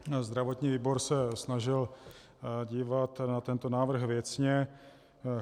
Zdravotní výbor se snažil dívat na tento návrh věcně.